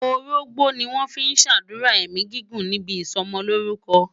Orógbó ni wọ́n fi ń ṣàdúrà ẹ̀mí gígùn níbi ìsọmọlórúkọ.